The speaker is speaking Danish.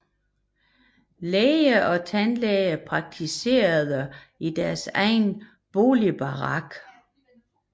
Læger og tandlæger praktiserede i deres egen boligbarakker